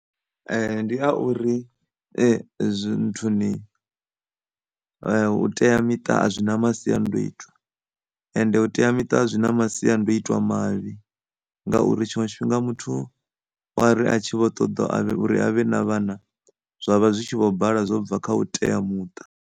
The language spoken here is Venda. Ndi a uri zwi, zwi nthuni u teamiṱa a zwina masiandoitwa ende u teamiṱa zwi na masiandoitwa mavhi ngauri tshiṅwe tshifhinga muthu u ari a tshi vho ṱaḓa uri a vhe na vhana zwa vha zwi tshi kho bala zwo bva kha u teamuṱa.